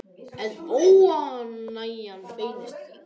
En óánægjan beinist víðar.